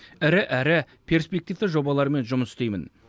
ірі әрі перспективті жобалармен жұмыс істеймін